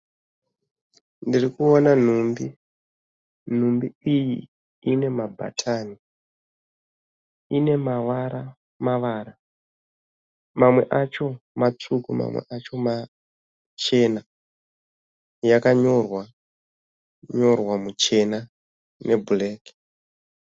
Ndirikuona nhumbi. Nhumbi iyi ine mabhatani. Ine mavara mavara. Mamwe acho matsvuku mamwe acho machena. Yakanyorwa nyorwa muchena nebhureki.